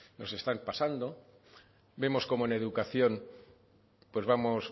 nos están pasando vemos como en educación pues vamos